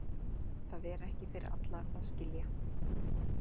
Það er ekki fyrir alla að skilja